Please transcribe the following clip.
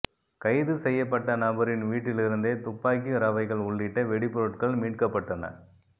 கைது செய்யப்பட்ட நபரின் வீட்டிலிருந்தே துப்பாக்கி ரவைகள் உள்ளிட்ட வெடிபொருட்கள் மீட்கப்பட்டன